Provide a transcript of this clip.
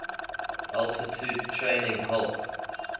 altitude training helped